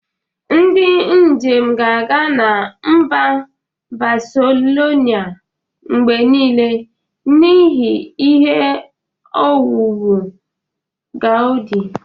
Ndị njem ga-aga na mba Baselona mgbe niile n'ihi ihe owuwu Gaudi.